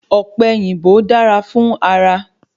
Ọ̀pẹ̀yìnbó dára fún ara